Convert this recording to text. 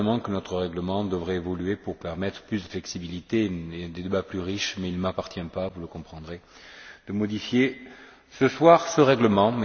Notre règlement devrait certainement évoluer pour permettre plus de flexibilité et des débats plus riches, mais il ne m'appartient pas, vous le comprendrez, de modifier ce soir ce règlement.